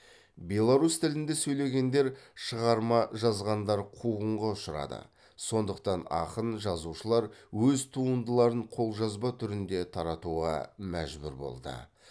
беларусь тілінде сөйлегендер шығарма жазғандар қуғынға ұшырады сондықтан ақын жазушылар өз туындыларын қолжазба түрінде таратуға мәжбүр болды